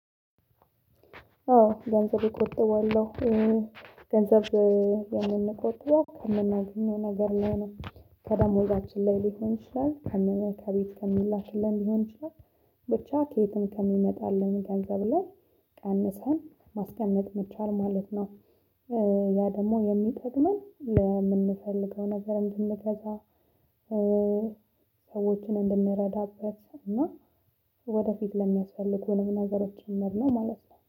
አዎ ገንዘብ እቆጥበለሁ። ገንዘብ የምንቆጥበው ከምናገኛው ነገር ላይ ነው ከደሞዛችን ላይ ሊሆን ይችላል ከእመ ከቤት ከምላክልን ሊሆን ይችላል ብቻ ከየትም ከሚመጣልን ገንዘብ ላይ ቀንሰን ማስቀመጥ መቻል ማለት ነው። ያ ደግሞ የሚጠቅመን ለምንፈልገው ነገር እንድንገዛ። ሰዎችን እንድንረዳበት እና ወደፊት ለሚያስፈልጉንም ነገሮችን ከምር ነውማለት ነው